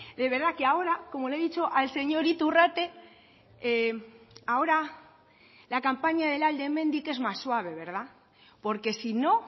de verdad que ahora como le he dicho al señor iturrate ahora la campaña del alde hemendik es más suave verdad porque si no